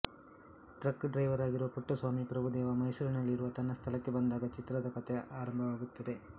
truck driver ಆಗಿರುವ ಪುಟ್ಟಸ್ವಾಮಿ ಪ್ರಭುದೇವ ಮೈಸೂರಿನಲ್ಲಿರುವ ತನ್ನ ಸ್ಥಳಕ್ಕೆ ಬಂದಾಗ ಚಿತ್ರದ ಕಥೆ ಪ್ರಾರಂಭವಾಗುತ್ತದೆ